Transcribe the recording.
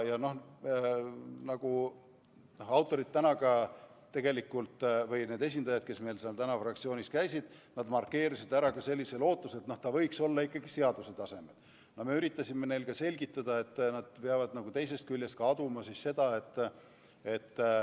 Tegelikult autorid või nende esindajad, kes meil täna fraktsioonis käisid, markeerisid ära ka sellise lootuse, et see võiks olla reguleeritud seaduse tasemel.